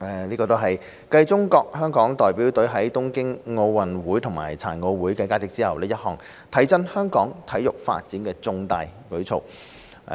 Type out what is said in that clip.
這是繼中國香港代表隊在東京奧運會及殘奧會的佳績後，一項提振香港體育發展的重大舉措。